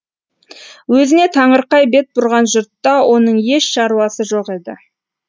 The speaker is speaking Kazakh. өзіне таңырқай бет бұрған жұртта оның еш шаруасы жоқ еді